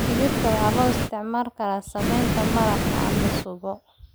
Digirta waxaa loo isticmaali karaa sameynta maraq ama supu.